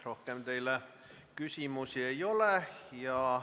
Rohkem teile küsimusi ei ole.